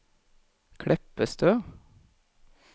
Kleppestø